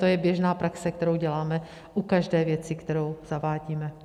To je běžná praxe, kterou děláme u každé věci, kterou zavádíme.